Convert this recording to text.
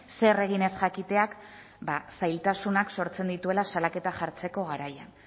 zer egin ez jakiteak zailtasunak sortzen dituela salaketa jartzeko garaian